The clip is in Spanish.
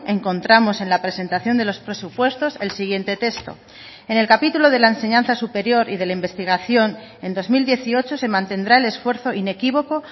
encontramos en la presentación de los presupuestos el siguiente texto en el capítulo de la enseñanza superior y de la investigación en dos mil dieciocho se mantendrá el esfuerzo inequívoco